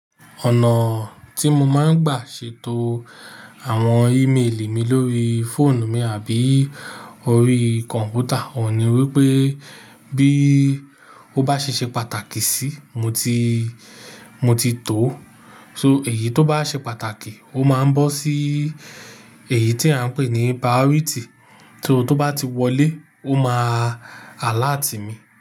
Ọ̀nà tí mo máa ń gbà ṣètò àwọn email mi lórí fóònù mi àbí orí kọ̀m̀pútà, ò ní wí pé bí ó bá ṣe ṣe pàtàkì síí, mo ti, mo ti tò ó. So èyí tó bá ṣe pàtàkì, ó máa ń bọ́ sí èyí tí à ń pè ní priority. So tó bá ti wọlé, ó máa alert mi.